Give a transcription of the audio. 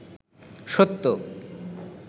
সত্য